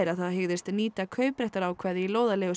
að það hygðist nýta kaupréttarákvæði í